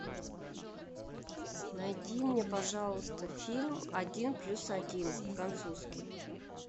найди мне пожалуйста фильм один плюс один французский